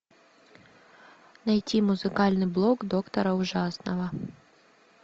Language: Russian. найти музыкальный блог доктора ужасного